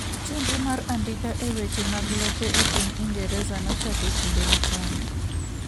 chenro mar andika e weche mag lope e piny ingereza nochake kinde machon